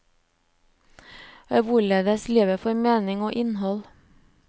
Hvorledes livet får mening og innhold.